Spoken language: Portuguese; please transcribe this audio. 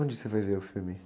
Onde você foi ver o filme?